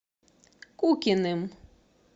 кукиным